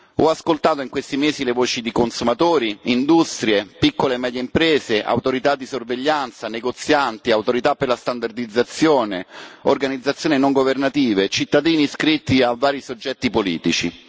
Ho ascoltato in questi mesi le voci di consumatori, industrie, piccole e medie imprese, autorità di sorveglianza, negozianti, autorità per la standardizzazione, organizzazioni non governative, cittadini iscritti a vari soggetti politici.